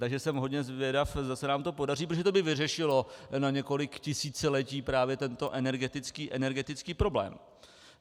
Takže jsem hodně zvědav, zda se nám to podaří, protože to by vyřešilo na několik tisíciletí právě tento energetický problém.